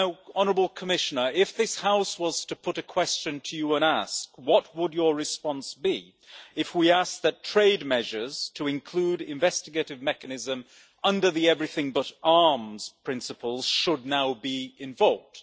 Honourable Commissioner, if this House was to put a question to you and ask, what would your response be if we asked that trade measures to include investigative mechanism under the Everything but Arms' principles should now be invoked?